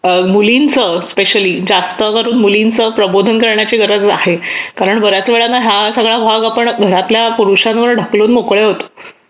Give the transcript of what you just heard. मुलींचे स्पेशली जास्त करून मुलींचे प्रबोधन करण्याची गरज आहे कारण बऱ्याच वेळा ना आपण हा वावगाव घरातल्या पुरुषावर ढकलून मोकळे होतो